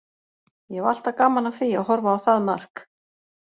Ég hef alltaf gaman af því að horfa á það mark.